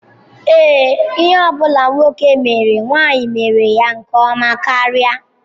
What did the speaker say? Ee, ihe ọ bụla nwoke mere nwanyị mere ya nke ọma karị.